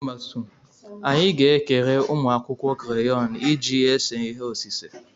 Anyị ga-ekere ụmụ akwụkwọ kreyọnụ iji ese ihe osise.